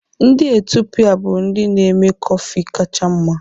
Ndị Etiopia bụ ndị na-eme kọfị kacha mma.